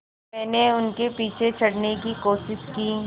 मैंने उनके पीछे चढ़ने की कोशिश की